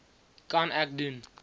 kan ek doen